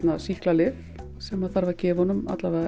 sýklalyf sem þarf að gefa honum